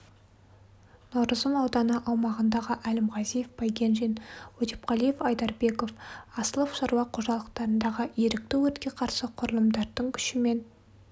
наурызым ауданы аумағындағы әлімғазиев байгенжин өтепқалиев айдарбеков асылов шаруа қожалықтарындағы ерікті өртке қарсы құрылымдарының күшімен